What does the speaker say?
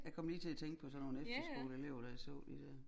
Jeg kom lige til at tænke på sådan nogen efterskoleelever da jeg så de dér